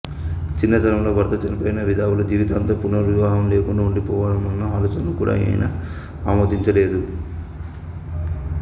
చిన్నతనంలో భర్త చనిపోయిన విధవలు జీవితాంతం పునర్వివాహం లేకుండా ఉండిపోవడమన్న ఆలోచనను కూడా ఆయన ఆమోదించలేదు